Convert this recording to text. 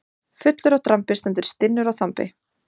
Fullur af drambi stendur stinnur á þambi.